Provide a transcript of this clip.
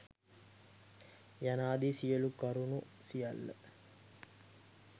යනාදී සියලු කරුණු සියල්ල